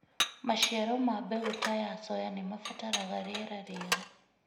Maciaro ma mbegũ ta ya soya nĩ mabataraga rĩera rĩega.